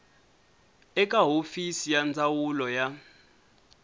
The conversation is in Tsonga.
eka hofisi ya ndzawulo ya